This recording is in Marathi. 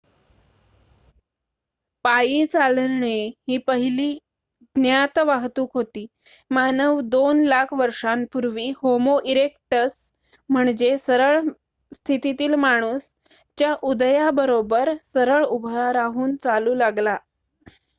पायी चालणे ही पहिली ज्ञात वाहतूक होती मानव दोन लाख वर्षांपूर्वी होमो इरेक्टस म्हणजे सरळ स्थितीतील माणूस च्या उदयाबरोबर सरळ उभा राहून चालू लागला